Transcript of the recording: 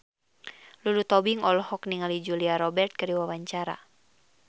Lulu Tobing olohok ningali Julia Robert keur diwawancara